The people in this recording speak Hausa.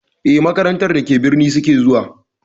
Eh, makarantar da ke birni suke zuwa.